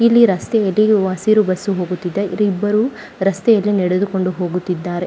ಇಲ್ಲಿ ರಸ್ತೆ ಎದಿರು ಹಸಿರು ಬಸ್ಸು ಹೋಗಿತ್ತಿದೆ ಇಲ್ಲಿ ಇಬ್ಬರು ರಸ್ತೆಯಲ್ಲಿ ನಡೆದು ಕೊಂಡು ಹೋಗುತ್ತಿದ್ದಾರೆ .